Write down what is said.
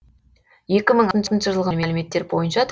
екі мың алтыншы жылғы мәліметтер бойынша